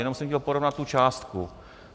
Jenom jsem chtěl porovnat tu částku.